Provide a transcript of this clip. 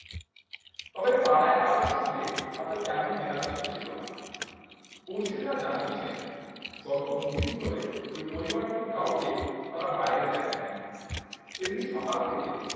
তবে পাড়ায় কারো সঙ্গে তাদের তেমন মেলামেশা ছিল না। পড়শীরা জানিয়েছেন গত দুদিন ধরে ওই পরিবারটির কাউকে তারা বাইরে দেখেননি সেদিন সকাল থেকে